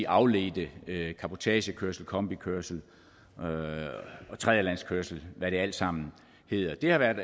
afledte cabotagekørsel kombikørsel og tredjelandskørsel hvad det alt sammen hedder det har været